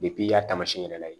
i y'a taamasiyɛn yɛrɛ layɛ